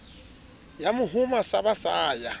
ya mohoma sa basa ya